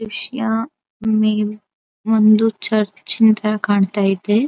ವಿಷ್ಯ ಮೇವ್ ಒಂದು ಚರ್ಚಿನ ತರ ಕಾಣತ್ತಾ ಇದೆ.